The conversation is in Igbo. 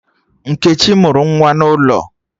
Nkechi mụrụ nwa n'ụlọ